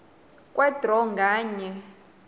kwe draw nganye